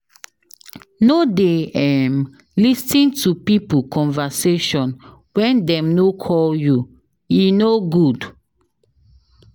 No dey lis ten to pipo conversation wen dem no call you. E no good.